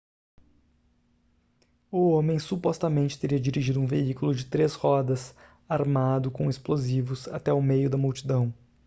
o homem supostamente teria dirigido um veículo de três rodas armado com explosivos até o meio da multidão